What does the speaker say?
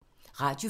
Radio 4